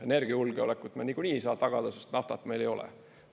Energiajulgeolekut me niikuinii ei saa tagada, sest naftat meil ei ole.